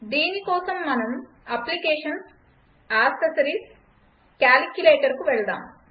దీనికోసం మనం Applications gtAccessories gtCalculatorకు వెళదాము